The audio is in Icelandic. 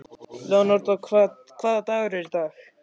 Leonardó, hvaða dagur er í dag?